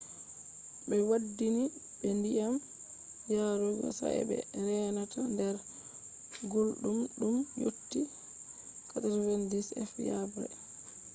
ɓe waddini ɓe ndiyam yarugo sa'e be reenata nder gulɗum ndum yotti 90f-yaɓre